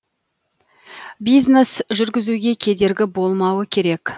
бизнес жүргізуге кедергі болмауы керек